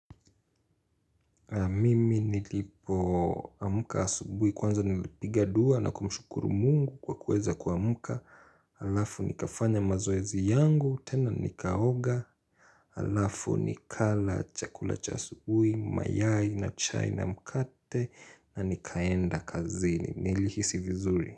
Mimi niliopo amuka asubui kwanza nilipiga dua na kumshukuru mungu kwa kuweza kuamuka Alafu nikafanya mazoezi yangu, tena nikaoga Alafu nikala chakula cha asubui, mayai na chai na mkate na nikaenda kazini Nilihisi vizuri.